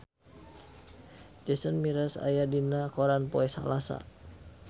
Jason Mraz aya dina koran poe Salasa